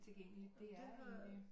Tilgængeligt det er egentlig